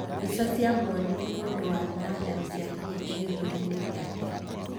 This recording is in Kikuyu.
Mbica ciamũonirie mũndũ warĩ na nderu ciakinyĩte gĩthũri-inĩ gĩake.